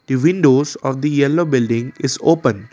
a windows of the yellow building is open.